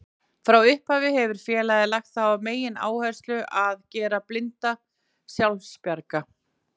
Frá upphafi hefur félagið lagt á það megináherslu að gera blinda sjálfbjarga.